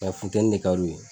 Nga funtɛni de ka di u ye.